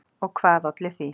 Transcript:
Og hvað olli því?